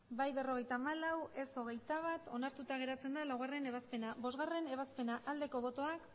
hamabost bai berrogeita hamalau ez hogeita bat onartuta geratzen da laugarrena ebazpena bostgarrena ebazpena aldeko botoak